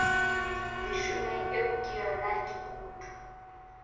leshome eo ka yona dikutu